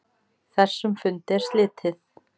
Þessum fundi er slitið.